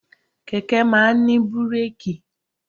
Kẹ̀kẹ́ máa ń ní búrèkì.